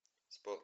спорт